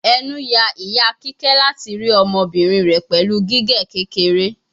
Enu ya ita kike lati ri ọmọbirin rẹ pẹlu gige kekere